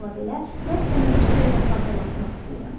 Amma bununla belə, mən sənə bir şeyi də xatırlatmaq istəyirəm.